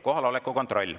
Kohaloleku kontroll.